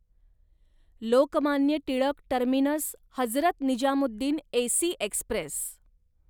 Lokmanya Tilak terminus Hazrat Nizamuddin AC Express